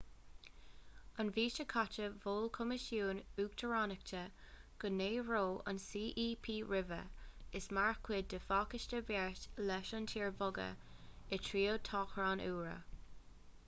an mhí seo caite mhol coimisiún uachtaránachta go n-éireodh an cep roimhe as mar chuid de phacáiste beart leis an tír a bhogadh i dtreo toghchán úra